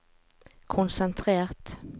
konsentrert